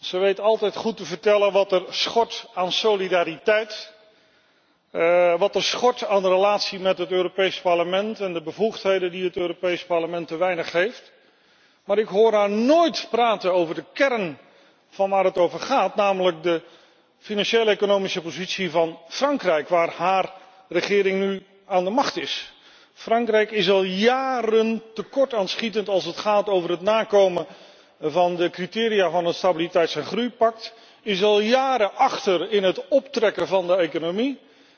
Ze weet altijd goed te vertellen wat er schort aan solidariteit, wat er schort aan de relatie met het Europees Parlement en de bevoegdheden die het Europees Parlement te weinig heeft, maar ik hoor haar nooit praten over de kern van de zaak, namelijk de financieel economische positie van Frankrijk waar haar regering nu aan de macht is. Frankrijk is al jaren aan het tekortschieten, als het gaat over het nakomen van de criteria van het stabiliteits en groeipact, is al jaren achter in het optrekken van de economie.